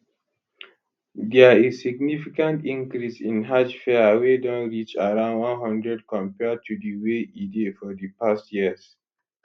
dia is significant increase in hajj fare wey don reach around one hundred compared to di way e dey for di past years